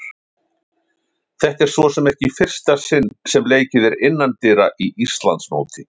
Þetta er svo sem ekki í fyrsta sinn sem leikið er innandyra í Íslandsmóti.